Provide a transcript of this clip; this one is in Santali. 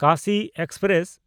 ᱠᱟᱥᱤ ᱮᱠᱥᱯᱨᱮᱥ